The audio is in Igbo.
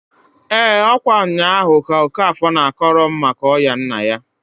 EEǃ Ọ̣kwa nnyaahu ka Okafor na-akọrọ m maka ọya nna ya.